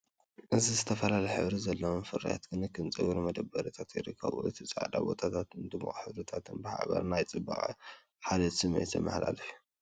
እዚ ዝተፈላለየ ሕብሪ ዘለዎም ፍርያት ክንክን ጸጉሪ ኣብ መደርደሪታት ይርከቡ። እቲ ጻዕዳ ቦታታትን ድሙቕ ሕብርታትን ብሓባር ናይ ጽባቐን ሓልዮትን ስምዒት ዘመሓላልፍ እዩ።